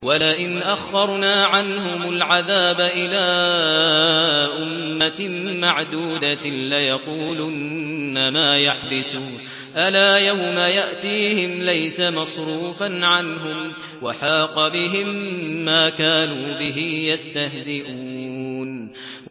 وَلَئِنْ أَخَّرْنَا عَنْهُمُ الْعَذَابَ إِلَىٰ أُمَّةٍ مَّعْدُودَةٍ لَّيَقُولُنَّ مَا يَحْبِسُهُ ۗ أَلَا يَوْمَ يَأْتِيهِمْ لَيْسَ مَصْرُوفًا عَنْهُمْ وَحَاقَ بِهِم مَّا كَانُوا بِهِ يَسْتَهْزِئُونَ